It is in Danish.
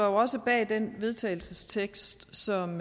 også bag den vedtagelsestekst som